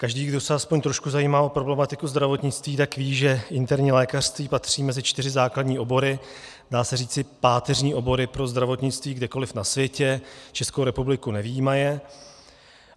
Každý, kdo se aspoň trošku zajímá o problematiku zdravotnictví, tak ví, že interní lékařství patří mezi čtyři základní obory, dá se říci páteřní obory pro zdravotnictví kdekoliv na světě, Českou republiku nevyjímaje.